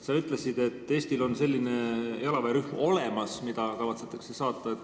Sa ütlesid, et Eestil on olemas selline jalaväerühm, mida kavatsetakse saata.